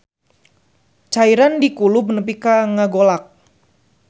Cairan dikulub nepi ka ngagolak.